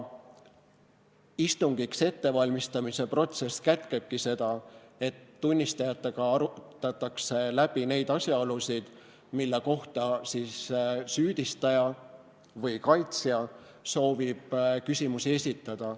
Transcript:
Istungiks ettevalmistamise protsess kätkebki seda, et tunnistajatega arutatakse läbi neid asjaolusid, mille kohta süüdistaja või kaitsja soovib küsimusi esitada.